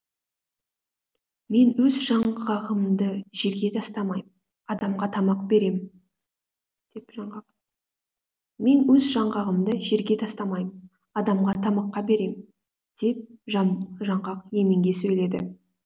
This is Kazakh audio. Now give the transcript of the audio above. мен өз жаңғағымды жерге тастамайм адамға тамақ берем деп жаңғақ мен өз жаңғағымды жерге тастамайм адамға тамаққа берем деп жаңғақ еменге сөйледі